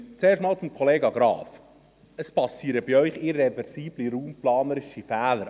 Zuerst zu Kollege Graf: Es geschehen bei Ihnen irreversible raumplanerische Fehler.